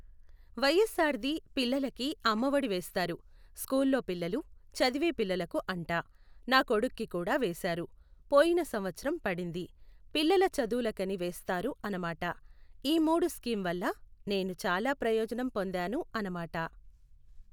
వైఎస్ఆర్ది పిల్లలకి అమ్మఒడి వేస్తారు. స్కూల్లో పిల్లలు, చదివే పిల్లలకు అంట. నా కొడుక్కి కూడా వేశారు, పోయిన సంవత్సరం పడింది. పిల్లల చదువులుకని వేస్తారు అనమాట. ఈ మూడు స్కీమ్ వల్ల నేను చాలా ప్రయోజనం పొందాను అనమాట.